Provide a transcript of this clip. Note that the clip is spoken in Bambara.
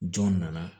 Jɔn nana